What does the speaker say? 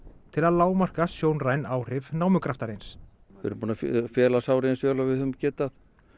til að lágmarka sjónræn áhrif námugraftarins við erum búin að fela sárið eins og við höfum getað